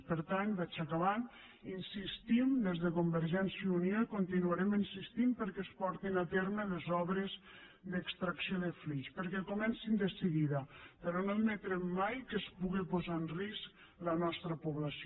per tant vaig acabant insistim des de convergència i unió i hi continuarem insistint perquè es portin a terme les obres d’extracció de flix perquè comencin de seguida però no admetrem mai que es puga posar en risc la nostra població